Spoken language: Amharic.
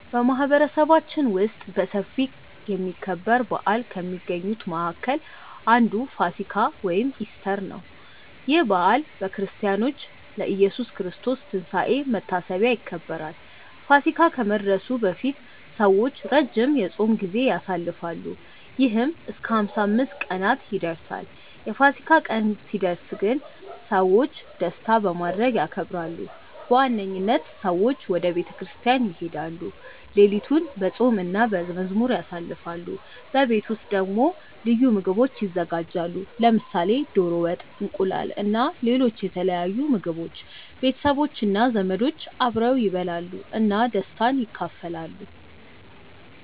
በማህበረሰባችን ውስጥ በሰፊ የሚከበር በዓል ከሚገኙት መካከል አንዱ ፋሲካ (ኢስተር) ነው። ይህ በዓል በክርስቲያኖች ለኢየሱስ ክርስቶስ ትንሳኤ መታሰቢያ ይከበራል። ፋሲካ ከመድረሱ በፊት ሰዎች ረጅም የጾም ጊዜ ያሳልፋሉ፣ ይህም እስከ 55 ቀናት ይደርሳል። የፋሲካ ቀን ሲደርስ ግን ሰዎች ደስታ በማድረግ ያከብራሉ። በዋነኝነት ሰዎች ወደ ቤተ ክርስቲያን ይሄዳሉ፣ ሌሊቱን በጸሎት እና በመዝሙር ያሳልፋሉ። በቤት ውስጥ ደግሞ ልዩ ምግቦች ይዘጋጃሉ፣ ለምሳሌ ዶሮ ወጥ፣ እንቁላል እና ሌሎች የተለያዩ ምግቦች። ቤተሰቦች እና ዘመዶች አብረው ይበላሉ እና ደስታን ይካፈላሉ።